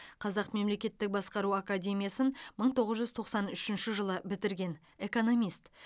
қазақ мемлекеттік басқару академиясын мың тоғыз жүз тоқсан үшінші жылы бітірген экономист